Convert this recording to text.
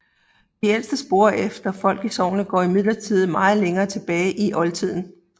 De ældste spor efter folk i sognet går imidlertid meget længere tilbage i oldtiden